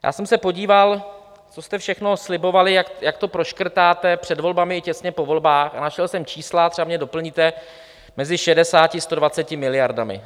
Já jsem se podíval, co jste všechno slibovali, jak to proškrtáte, před volbami i těsně po volbách, a našel jsem čísla - třeba mě doplňte - mezi 60 a 120 miliardami.